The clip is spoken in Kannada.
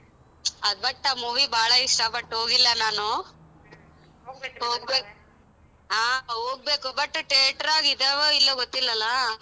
ಅದ್ but ಆ movie ಬಾಳ ಇಷ್ಟ but ಹೋಗಿಲ್ಲ ನಾನು ಹಾ ಹೋಗ್ಬೇಕು but theatre ಆಗ್ ಇದ್ದಾವೋ ಇಲ್ವೋ ಗೊತ್ತಿಲ್ವಲ್ಲ?